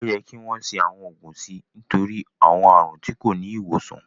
Ó yẹ kí wọ́n ṣe àwọn ògùn sí i nítorí àwọn àrùn tí kò tí ì ní ìwòsàn